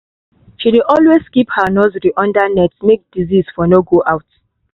she dey always keep her nursery under net make disease for no go out